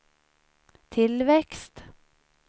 tillväxt